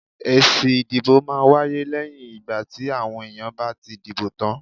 Èsì ìdìbò máa ń wáyé lẹ́yìn ìgbà tí àwọn èèyàn bá ti dìbò tán.